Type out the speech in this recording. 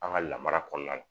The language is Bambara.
An ka lamara kɔnɔna na